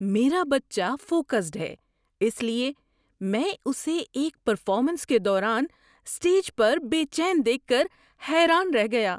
میرا بچہ فوکسڈ ہے، اس لیے میں اسے ایک پرفارمنس کے دوران اسٹیج پر بے چین دیکھ کر حیران رہ گیا۔